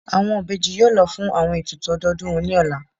Awọn ibeji yóò lọ fun awọn etùtù ọdodùn wọn ni ọla.